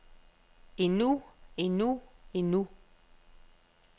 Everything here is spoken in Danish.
endnu endnu endnu